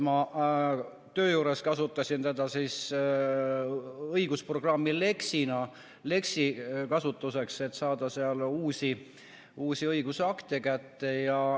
Töö juures ma kasutasin õigusprogrammi Lex, et saada sealt uusi õigusakte kätte.